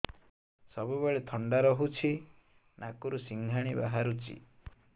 ସବୁବେଳେ ଥଣ୍ଡା ରହୁଛି ନାକରୁ ସିଙ୍ଗାଣି ବାହାରୁଚି